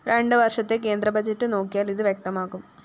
രണ്ട് വര്‍ഷത്തെ കേന്ദ്ര ബഡ്ജറ്റ്‌ നോക്കിയാല്‍ ഇത് വ്യക്തമാകും